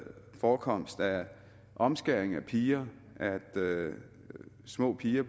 forekomst af omskæring af piger at små piger